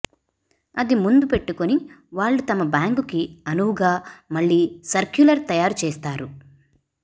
అది ముందు పెట్టుకుని వాళ్లు తమ బ్యాంకుకి అనువుగా మళ్లీ సర్క్యులర్ తయారుచేస్తారు